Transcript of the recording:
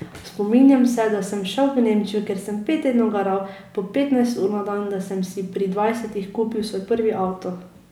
Spominjam se, da sem šel v Nemčijo, kjer sem pet tednov garal po petnajst ur na dan, da sem si pri dvajsetih kupil svoj prvi avto.